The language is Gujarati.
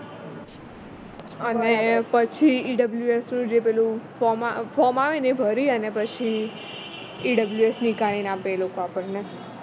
અને પછી EWF નું જે પેલું ફોર્મ આવે ને એ ભરી અને પછી EWF આપે એ લોકો આપણને